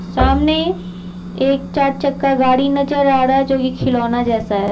सामने एक चार चक्का गाड़ी नजर आ रहा है जो कि खिलौना जैसा है।